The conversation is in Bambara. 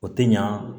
O tɛ ɲa